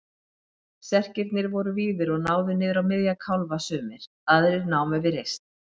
Serkirnir voru víðir og náðu niður á miðja kálfa sumir, aðrir námu við rist.